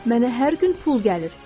Mənə hər gün pul gəlir.